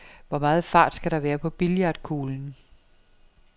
Hvor meget fart skal der være på billiardkuglen?